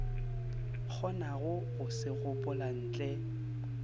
kgonago go se gopola ntle